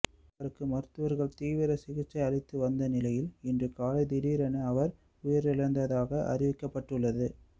அவருக்கு மருத்துவர்கள் தீவிர சிகிச்சை அளித்து வந்த நிலையில் இன்று காலை திடீரென அவர் உயிரிழந்ததாக அறிவிக்கப்பட்டுள்ளது